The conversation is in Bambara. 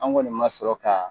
An kɔni ma sɔrɔ ka